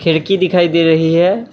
खिड़की दिखाई दे रही है।